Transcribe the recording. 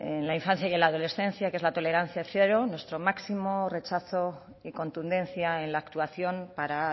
en la infancia y en la adolescencia que es la tolerancia cero nuestro máximo rechazo y contundencia en la actuación para